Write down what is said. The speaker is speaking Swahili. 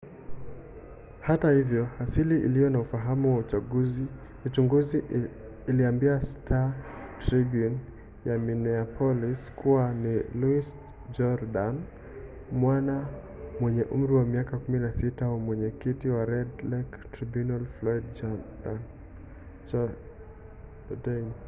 hata hivyo asili iliyo na ufahamu wa uchunguzi iliambia star-tribune ya minneapolis kuwa ni louis jourdian mwana mwenye umri wa miaka 16 wa mwenyekiti wa red lake tribunal floyd jourdain